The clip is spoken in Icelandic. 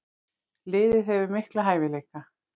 Liðið hefur mikla hæfileika.